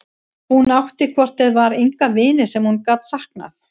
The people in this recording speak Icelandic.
Hún átti hvort eð var enga vini sem hún gat saknað.